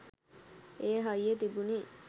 ඒ හයිය තිබුනෙ.